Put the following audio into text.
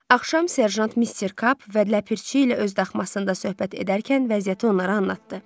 Axşam Serjant Mister Kap və Ləpirçi ilə öz daxmasındas söhbət edərkən vəziyyəti onlara anlatdı.